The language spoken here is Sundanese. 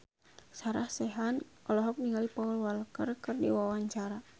Sarah Sechan olohok ningali Paul Walker keur diwawancara